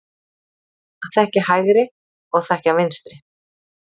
Að þekkja hægri og þekkja vinstri.